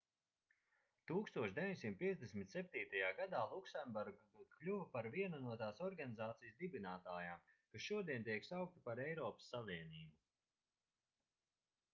1957. gadā luksemburga kļuva par vienu no tās organizācijas dibinātājām kas šodien tiek saukta par eiropas savienību